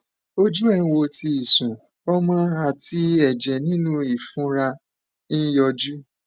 ojú ẹ ń wò tí ìsun omi àti ẹjẹ nínú ìfunra ń yọjú